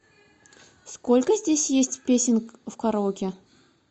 сколько здесь есть песен в караоке